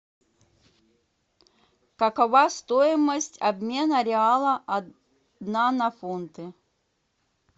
какова стоимость обмена реала одна на фунты